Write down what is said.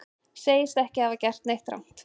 Segist ekki hafa gert neitt rangt